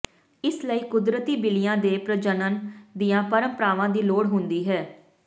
ਇਸ ਲਈ ਕੁਦਰਤੀ ਬਿੱਲੀਆਂ ਦੇ ਪ੍ਰਜਨਨ ਦੀਆਂ ਪਰੰਪਰਾਵਾਂ ਦੀ ਲੋੜ ਹੁੰਦੀ ਹੈ